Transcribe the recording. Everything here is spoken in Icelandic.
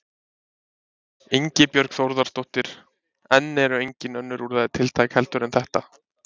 Ingibjörg Þórðardóttir: En eru engin önnur úrræði tiltæk heldur en þetta?